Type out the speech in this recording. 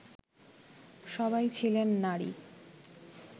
সবাই ছিলেন নারী